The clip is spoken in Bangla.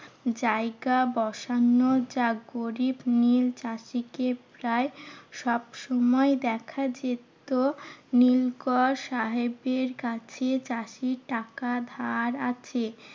জায়গা বসানো জাগরিত। নীল চাষীকে প্রায় সবসময় দেখা যেত, নীলকর সাহেবদের কাছে চাষীর টাকা ধার আছে।